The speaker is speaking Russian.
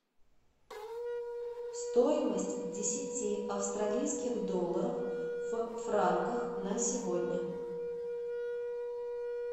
стоимость десяти австралийских долларов в франках на сегодня